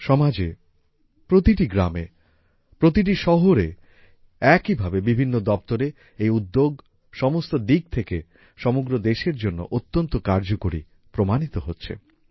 সমাজে প্রতিটি গ্রামে প্রতিটা শহরে একইভাবে বিভিন্ন দপ্তরে এই উদ্যোগ সমস্ত দিক থেকে সমগ্র দেশের জন্য অত্যন্ত কার্যকরী প্রমাণিত হচ্ছে